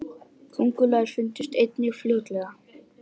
köngulær fundust einnig fljótlega